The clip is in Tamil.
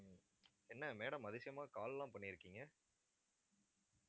என்ன madam அதிசயமா call எல்லாம் பண்ணிருக்கீங்க